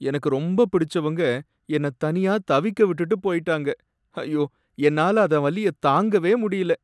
எனக்கு ரொம்ப பிடிச்சவங்க என்னை தனியா தவிக்க விட்டுட்டு போயிட்டாங்க, ஐயோ! என்னால அத வலிய தாங்கவே முடியல.